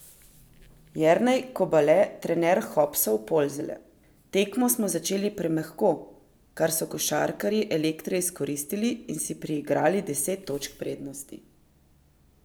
Jernej Kobale, trener Hopsov Polzele: "Tekmo smo začeli premehko, kar so košarkarji Elektre izkoristili in si priigrali deset točk prednosti.